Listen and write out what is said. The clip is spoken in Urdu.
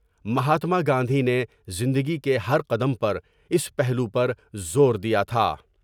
مہاتما گاندھی نے زندگی کے ہر قدم پر اس پہلو پر زور دیا تھا ۔